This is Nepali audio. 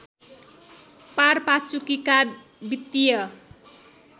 पारपाचुकेका वित्तीय